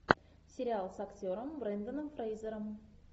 сериал с актером бренданом фрейзером